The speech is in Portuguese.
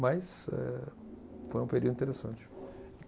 Mas eh, foi um período interessante.